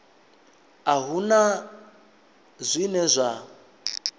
a hu na zwine zwa